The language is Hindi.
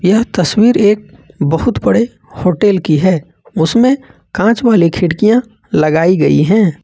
यह तस्वीर एक बहुत बड़े होटल की है उसमें कांच वाले खिड़कियां लगाई गई हैं।